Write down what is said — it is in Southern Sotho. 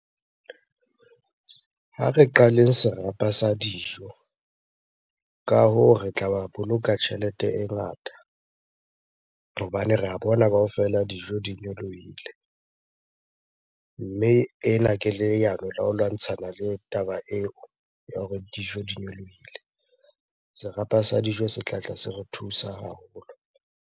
Ha re qaleng serapa sa dijo. Ka hoo, re tla ba boloka tjhelete e ngata hobane re a bona kaofela dijo di nyolohile. Mme ena ke leano la ho lwantshana le taba eo ya hore dijo di nyolohile. Serapa sa dijo se tlatla se re thusa haholo.